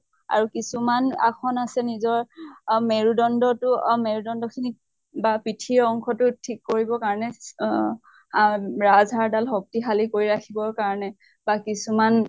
আৰু কিছুমান আশন আছে নিজৰ মেৰুদণ্ডতো মেৰুদণ্ডখিনি বা পিঠি ৰ অংশতো ঠিক কৰিব কাৰণে চ আ ৰাজহাড় শক্তিশালী কৰি ৰাখিব কাৰণে, কিছুমান